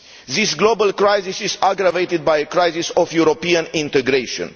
This global crisis is aggravated by a crisis of European integration.